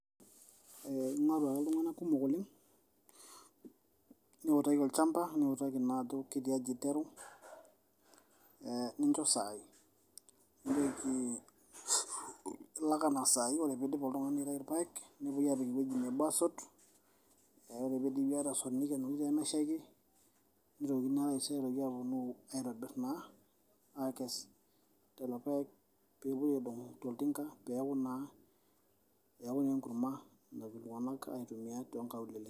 Eee ing'oru ake iltung'ana kumok oleng', niutaki olchamba niutaki ajo ketiaji iteru, ninjo saai nijoki ilak enaa saai. Ore piidip oltung'ani aitayu irpaek nitoki aapik ewueji nebo aasot, neeku ore piidipi atasot nikenori pee meshaiki, nitokini naa taisere aaponu aaitobir naa, aakes lelo paek pee itoki aapuo aidong' toltinka pee eeku naa enkurma naidim iltung'anak aitumia too nkaulele.